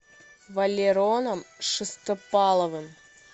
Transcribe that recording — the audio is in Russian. валероном шестопаловым